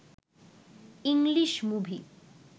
English movie